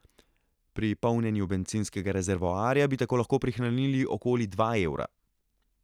Pri polnjenju bencinskega rezervoarja bi tako lahko prihranili okoli dva evra.